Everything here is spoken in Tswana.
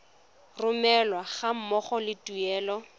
romelwa ga mmogo le tuelo